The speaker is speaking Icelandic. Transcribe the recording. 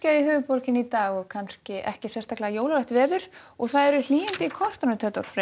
í höfuðborginni í dag og kannski ekki sérstaklega jólalegt veður og það eru hlýindi í kortunum Theodór Freyr